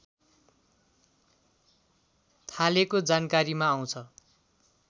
थालेको जानकारीमा आउँछ